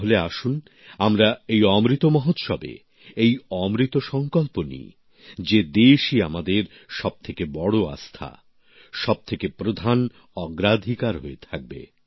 তাহলে আসুন আমরা এই অমৃত মহোৎসবে এই অমৃত সঙ্কল্প নিই যে দেশই আমাদের সবথেকে বড় আস্থা সবথেকে প্রধান অগ্রাধিকার হয়ে থাকবে